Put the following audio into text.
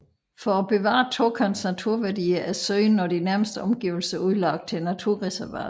For at bevare Tåkerns naturværdier er søen og de nærmeste omgivelser udlagt til naturreservat